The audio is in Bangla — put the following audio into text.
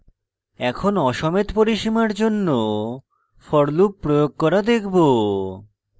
এখন aসমেত পরিসীমার জন্য for loop প্রয়োগ করা দেখব